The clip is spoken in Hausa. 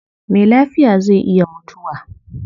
Me lafiya zai iya mutuwa